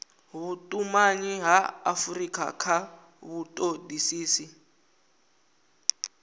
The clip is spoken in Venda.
vhutumanyi ha afurika kha vhutodisisi